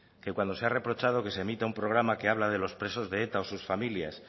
que cuando se ha reprochado que se emita un programa que habla de os presos de eta o sus familias